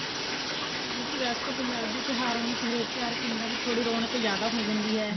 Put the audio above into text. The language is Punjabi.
ਮਤਲਬ ਕੇ ਵੇਸੇ ਪੰਜਾਬੀ ਤਿਉਹਾਰਾਂ ਵਿੱਚ ਹਰੇਕ ਤਿਉਹਰ ਵਿੱਚ ਪਿੰਡਾਂ ਵਿੱਚ ਰੋਣਕ ਥੋੜੀ ਜਿਆਦਾ ਹੋ ਜਾਂਦੀ ਹੈ